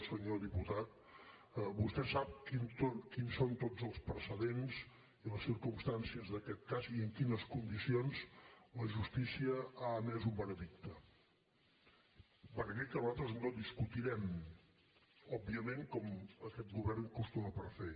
senyor diputat vostè sap quins són tots els precedents i les circumstàncies d’aquest cas i en quines condicions la justícia ha emès un veredicte un veredicte que nosaltres no discutirem òbviament com aquest govern acostuma a fer